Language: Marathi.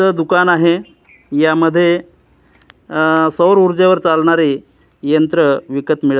इथं दुकान आहे यामध्ये अह सौर ऊर्जेवर चालणारे यंत्र विकत मिळत--